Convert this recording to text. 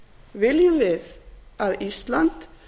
viljum við að ísland